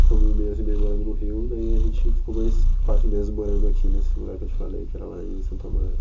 Ficamos um mês e meio morando no Rio, daí a gente ficou mais quatro meses morando aqui nesse lugar que eu te falei, que era lá em Santo Amaro.